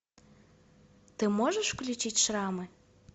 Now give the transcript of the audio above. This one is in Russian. ты можешь включить шрамы